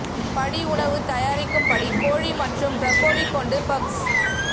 படி உணவு தயாரிக்கும் படி கோழி மற்றும் ப்ரோக்கோலி கொண்டு பப்ஸ்